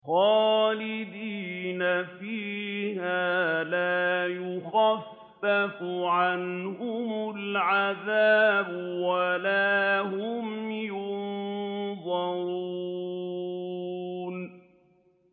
خَالِدِينَ فِيهَا لَا يُخَفَّفُ عَنْهُمُ الْعَذَابُ وَلَا هُمْ يُنظَرُونَ